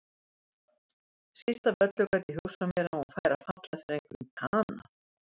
Síst af öllu gat ég hugsað mér að hún færi að falla fyrir einhverjum kana.